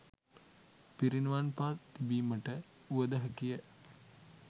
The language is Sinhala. පිරිනිවන් පා තිබීමට වුවද හැකියි